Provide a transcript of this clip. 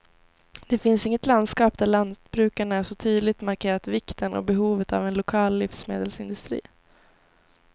Det finns inget landskap där lantbrukarna så tydligt markerat vikten och behovet av en lokal livsmedelsindustri.